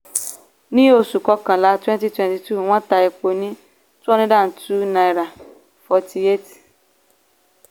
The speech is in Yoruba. ní oṣù kọkànlá twenty twenty two wọ́n ta epo ní two hundred and two naira frty eight